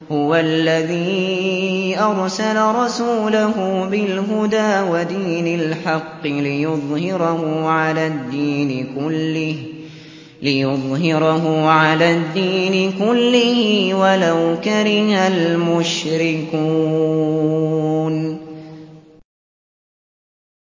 هُوَ الَّذِي أَرْسَلَ رَسُولَهُ بِالْهُدَىٰ وَدِينِ الْحَقِّ لِيُظْهِرَهُ عَلَى الدِّينِ كُلِّهِ وَلَوْ كَرِهَ الْمُشْرِكُونَ